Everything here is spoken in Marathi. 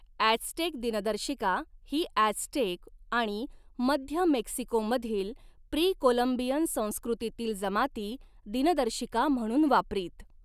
ऍझ्टेक दिनदर्शिका ही ऍझ्टेक आणि मध्य मेक्सिकोमधील प्री कोलंबियन संस्कृतीतील जमाती दिनदर्शिका म्हणून वापरीत.